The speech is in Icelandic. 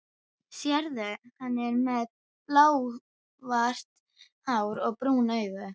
Sérðu, hann er með blásvart hár og brún augu?